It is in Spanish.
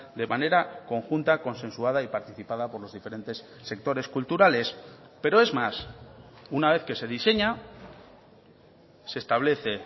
de manera conjunta consensuada y participada por los diferentes sectores culturales pero es más una vez que se diseña se establece